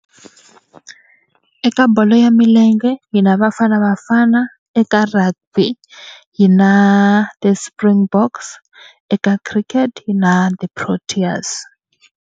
Eka bolo ya milenge hina Bafana Bafana, eka rugby yi na the Springboks, eka cricket na the Proteas.